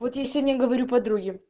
вот я сегодня говорю подруге